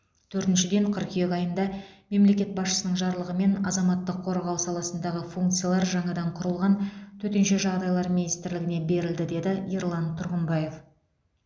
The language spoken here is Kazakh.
төртіншіден қыркүйек айында мемлекет басшысының жарлығымен азаматтық қорғау саласындағы функциялар жаңадан құрылған төтенше жағдайлар министрлігіне берілді деді ерлан тұрғымбаев